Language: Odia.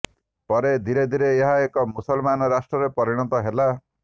ପରେ ଧୀରେ ଧୀରେ ଏହା ଏକ ମୁସଲମାନ ରାଷ୍ଟ୍ରରେ ପରିଣତ ହେଲା